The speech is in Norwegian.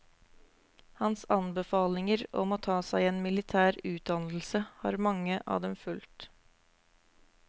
Hans anbefalinger om å ta seg en militær utdannelse har mange av dem fulgt.